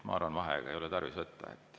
Ma arvan, et vaheaega ei ole tarvis võtta.